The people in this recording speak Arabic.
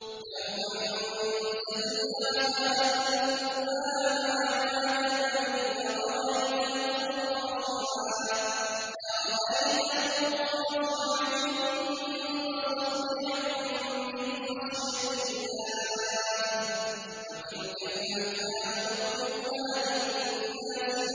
لَوْ أَنزَلْنَا هَٰذَا الْقُرْآنَ عَلَىٰ جَبَلٍ لَّرَأَيْتَهُ خَاشِعًا مُّتَصَدِّعًا مِّنْ خَشْيَةِ اللَّهِ ۚ وَتِلْكَ الْأَمْثَالُ نَضْرِبُهَا لِلنَّاسِ